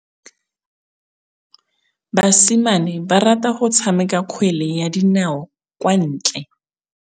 Basimane ba rata go tshameka kgwele ya dinaô kwa ntle.